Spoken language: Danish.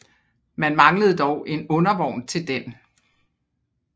Man manglede dog en undervogn til den